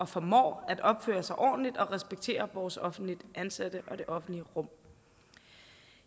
formår at opføre sig ordentligt og respektere vores offentligt ansatte og det offentlige rum